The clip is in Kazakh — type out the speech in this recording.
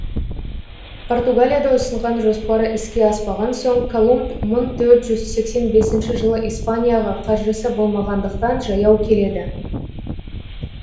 португалияда ұсынған жоспары іске аспаған соң колумб мың төрт жүз сексен бесінші жылы испанияға қаржысы болмағандықтан жаяу келеді